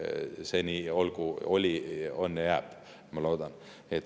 See nii olgu, oli, on ja jääb, ma loodan.